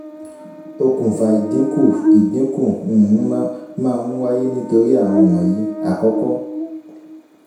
okunfà ìdínkù ìdínkù um máa ń wáyé nítorí àwọn wọnyìí: àkọ́kọ́